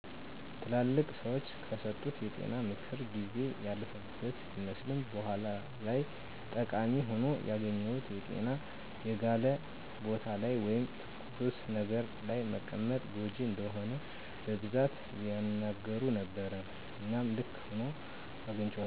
ትላልቅ ሰዎች ከሰጡት የጤና ምክር ጊዜ ያለፈበት ቢመስልም በኋላ ላይ ጠቃሚ ሆኖ ያገኘሁት የጤና የጋለ ቦታ ላይ ወይም ተኩስ ነገር ለይ መቀመጥ ጎጅ እንደሆነ በቡዛት ያናገሩ ነበረ እናም ልክ ሁኖ አግንቸዋለዉ።